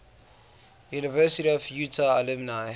university of utah alumni